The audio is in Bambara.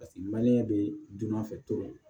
Paseke be dunan fɛ toro